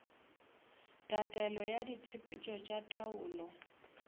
tatelelo ya ditshepetšo tša taolo